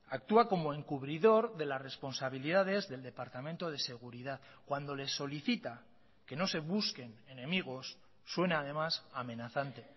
actúa como encubridor de las responsabilidades del departamento de seguridad cuando le solicita que no se busquen enemigos suena además amenazante